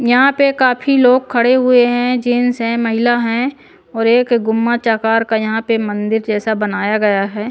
यहाँ पे काफी लोग खड़े हुए हैं जेंस हैं महिला हैं और एक गुम्मच आकार का यहाँ पे मंदिर जैसा बनाया गया है।